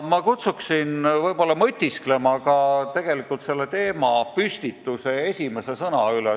Ma kutsun üles mõtisklema ka selle teemapüstituse esimese sõna üle.